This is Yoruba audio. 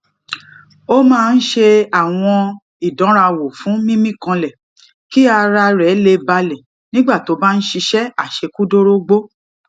ó máa ń ṣe àwọn ìdánrawò fún mímí kanlè kí ara rè lè balè nígbà tó bá ń ṣiṣé àṣekúdórógbó